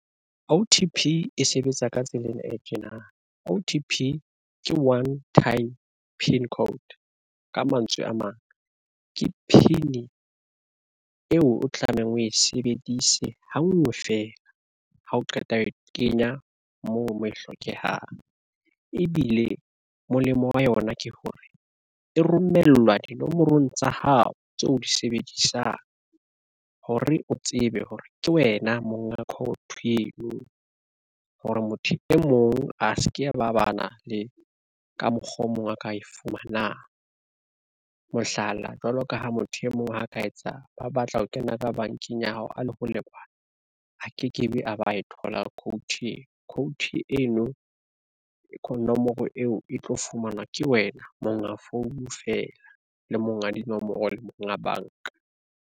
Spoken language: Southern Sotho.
O_T__P e sebetsa ka tsela ena e tjena, O_T_P ke one time pin code. Ka mantswe a mang, ke pin eo o tlamehang o e sebedise hangwe fela ha o qeta ho kenya moo mo e hlokehang. Ebile molemo wa yona ke hore e romellwa dinomorong tsa hao tseo di sebedisang hore o tsebe hore ke wena monga eo hore motho e mong a se ke ba ba na le ka mokgwa o mong a ka e fumana. Mohlala, jwalo ka ha motho e mong ho ka etsa ba batla ho kena ka bankeng ya hao a le ho lebala ha ke ke be a ba e thola code. Code eno ka nomoro eo e tlo fumanwa ke wena monga phone feela le monga dinomoro le monga banka.